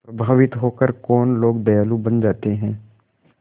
प्रभावित होकर कौन लोग दयालु बन जाते हैं